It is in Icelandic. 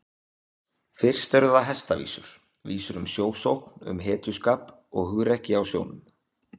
Fyrst eru það hestavísur, vísur um sjósókn, um hetjuskap og hugrekki á sjónum.